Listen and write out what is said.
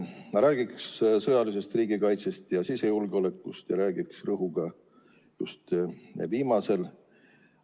Ma räägin sõjalisest riigikaitsest ja sisejulgeolekust ning panen rõhu just viimasele.